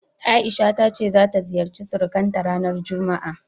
A'isha ta ce ta ziyarci surukanta ranar juma'a.